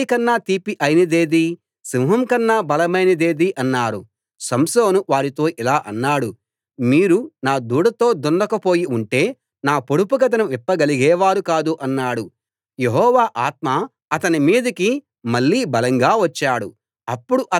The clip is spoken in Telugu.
ఏడో రోజున సూర్యాస్తమయం ముందే ఆ ఊరి వాళ్ళు సంసోనుతో తేనె కన్నా తీపి అయినదేది సింహం కన్నా బలమైనదేది అన్నారు సంసోను వారితో ఇలా అన్నాడు మీరు నా దూడతో దున్నకపోయి ఉంటే నా పొడుపుకథను విప్పగలిగేవారు కాదు అన్నాడు